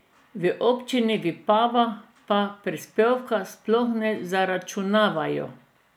V občini Vipava pa prispevka sploh ne zaračunavajo.